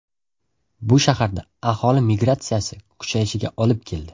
Bu shaharda aholi migratsiyasi kuchayishiga olib keldi.